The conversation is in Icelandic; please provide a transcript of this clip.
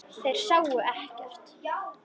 Þeir sáu ekkert.